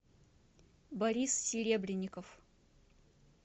борис серебренников